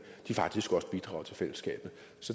faktisk også bidrager til fællesskabet